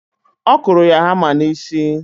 Ọ kụrụ ya hama n'isi.